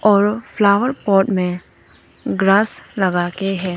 और flower pot में grass लगा के हैं।